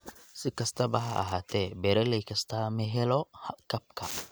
Si kastaba ha ahaatee, beeralay kastaa ma helo kabka.